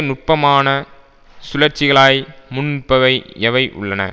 நுட்பமான சுழற்சிகளாய் முன் நிற்பவை எவை உள்ளன